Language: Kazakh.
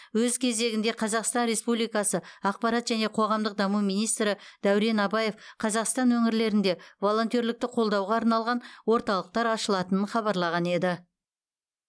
өз кезегінде қазақстан республикасы ақпарат және қоғамдық даму министрі дәурен абаев қазақстан өңірлерінде волонтерлікті қолдауға арналған орталықтар ашылатынын хабарлаған еді